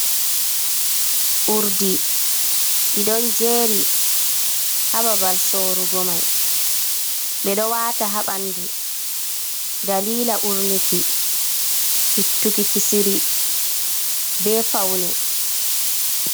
Urdi ɗi ɗon jeeri haa babal sorugo mai, ɓe dyo waata haa ɓanndu dalila urnuki, ittuki kisiri bee pawne.